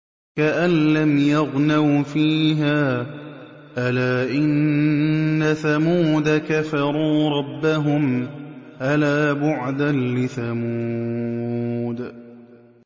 كَأَن لَّمْ يَغْنَوْا فِيهَا ۗ أَلَا إِنَّ ثَمُودَ كَفَرُوا رَبَّهُمْ ۗ أَلَا بُعْدًا لِّثَمُودَ